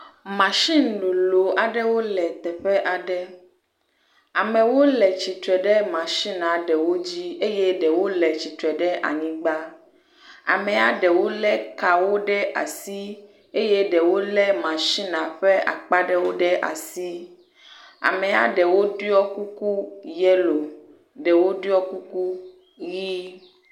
Masini lolo aɖewo le teƒe aɖe. Amewo le tsitre ɖe masinia ɖewo dzi eye ɖewo le tsitre ɖe anyigba. Amea ɖewo le kawo ɖe asi eye ɖewo le masinia ƒe akpa ɖewo ɖe asi. Amea ɖewo ɖɔ kuku yelo ɖewo ɖɔ kuku ʋi.